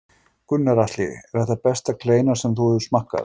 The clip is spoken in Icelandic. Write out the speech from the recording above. Gunnar Atli: Er þetta besta kleina sem þú hefur smakkað?